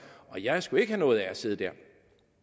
og jeg skulle ikke have noget af at sidde der